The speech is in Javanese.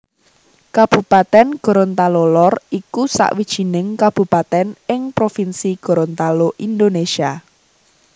Kabupatèn Gorontalo Lor iku sawijining kabupatèn ing provinsi Gorontalo Indonésia